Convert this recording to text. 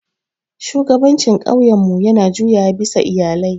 Shugabancin ƙauyenmu yana juyawa bisa iyalai.